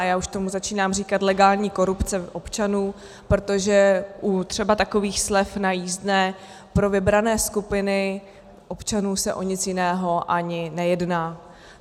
A já už tomu začínám říkat legální korupce občanů, protože třeba u takových slev na jízdné pro vybrané skupiny občanů se o nic jiného ani nejedná.